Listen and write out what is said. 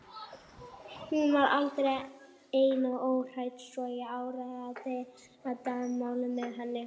Hún var eldri en ég og óhrædd svo ég áræddi að deila leyndarmálinu með henni.